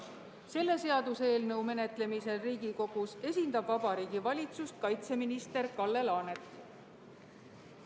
Selle seaduseelnõu menetlemisel Riigikogus esindab Vabariigi Valitsust kaitseminister Kalle Laanet.